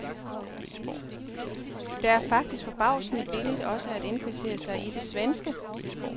Det er faktisk forbavsende billigt også at indkvartere sig i det svenske.